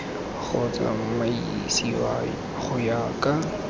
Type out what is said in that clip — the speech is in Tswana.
go tsamaisiwa go ya ka